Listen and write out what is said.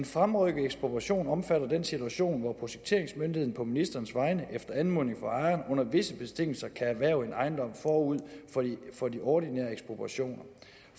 fremrykket ekspropriation omfatter den situation hvor projekteringsmyndigheden på ministerens vegne efter anmodning fra ejeren under visse betingelser kan erhverve en ejendom forud for de ordinære ekspropriationer